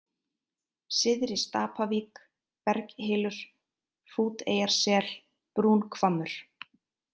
Syðri-Stapavík, Berghylur, Hrúteyjarsel, Brúnhvammur